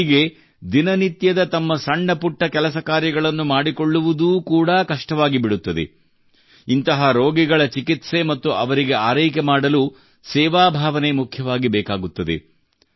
ರೋಗಿಗೆ ದಿನನಿತ್ಯದ ತಮ್ಮ ಸಣ್ಣ ಪುಟ್ಟ ಕೆಲಸ ಕಾರ್ಯಗಳನ್ನು ಮಾಡಿಕೊಳ್ಳುವುದು ಕೂಡಾ ಕಷ್ಟವಾಗಿಬಿಡುತ್ತದೆ ಇಂತಹ ರೋಗಿಗಳ ಚಿಕಿತ್ಸೆ ಮತ್ತು ಅವರಿಗೆ ಆರೈಕೆ ಮಾಡಲು ಸೇವಾ ಭಾವನೆ ಮುಖ್ಯವಾಗಿ ಬೇಕಾಗುತ್ತದೆ